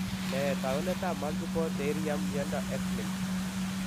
Nee taakunetaab multiple pterhyium myondo x-linked?